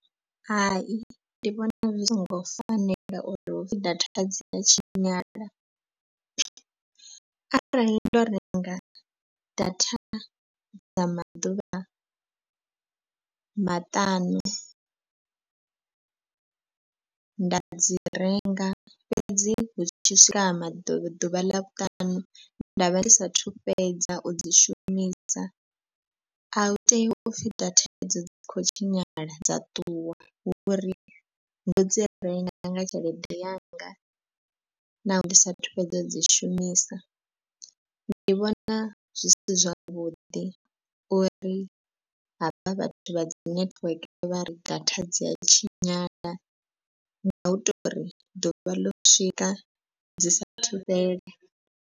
Hai ndi vhona zwi songo fanela uri hupfi data dzi a tshinyala. Arali ndo renga data dza maḓuvha maṱanu nda dzi renga fhedzi hu tshi swika maḓuvha ḓuvha ḽa vhuṱanu nda vha ndi sathu fhedza u dzi shumisa a hu tei u pfhi data idzo dzi kho tshinyala dza ṱuwa. Hu uri ndo dzi renga nga tshelede yanga naho ndi sathu fhedza u dzi shumisa. Ndi vhona zwi si zwavhuḓi uri havha vhathu vha dzi netiweke vha ri data dzi a tshinyala ngau tori ḓuvha ḽo swika dzi sa thu fhela.